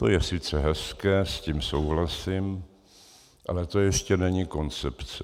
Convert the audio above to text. To je sice hezké, s tím souhlasím, ale to ještě není koncepce.